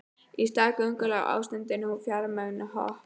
Í stað göngulags ástundar hún fjaðurmögnuð hopp.